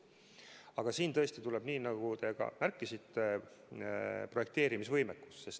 Aga siin tõesti tuleb mängu, nii nagu te ka märkisite, projekteerimisvõimekus.